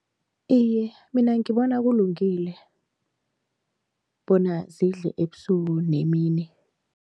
Iye, mina ngibona kulungile bona zidle ebusuku nemini.